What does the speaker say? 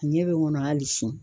A ɲɛ be n kɔnɔ hali sini